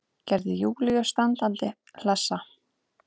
Gerði Júlíu standandi hlessa.